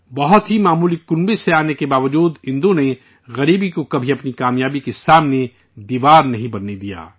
بہت ہی معمولی خاندان سے آنے کے باوجود، اندو نے غریبی کو کبھی اپنی کامیابی کے سامنے دیوار نہیں بننے دیا